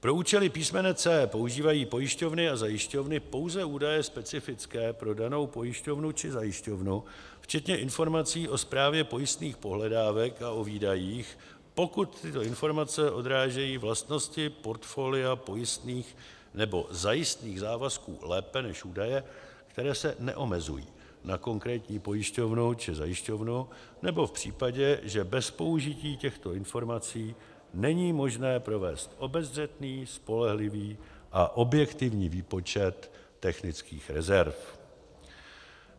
Pro účely písmene c) používají pojišťovny a zajišťovny pouze údaje specifické pro danou pojišťovnu či zajišťovnu, včetně informací o správě pojistných pohledávek a o výdajích, pokud tyto informace odrážejí vlastnosti portfolia pojistných nebo zajistných závazků lépe než údaje, které se neomezují na konkrétní pojišťovnu či zajišťovnu, nebo v případě, že bez použití těchto informací není možné provést obezřetný, spolehlivý a objektivní výpočet technických rezerv.